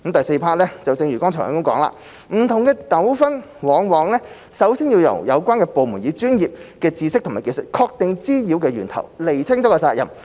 四正如剛才提及，不同的糾紛往往首先要由有關部門以專業知識和技術確定滋擾源頭和釐清責任。